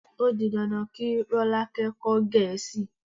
O di dandan kí Rọ́lákẹ́ kọ́ Gẹ̀ẹ́sì.